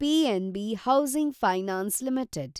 PNB housing finance limited